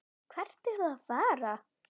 Hvert eruð þið að fara?